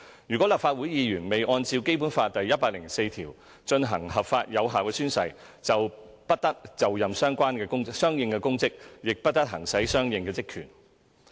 如立法會議員未按照《基本法》第一百零四條進行合法有效宣誓，便不得就任相應公職，亦不得行使相應職權。